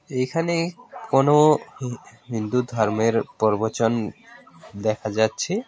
এখানে কোন হিন্দু ধর্মের প্রর্বচন দেখা যাচ্ছে।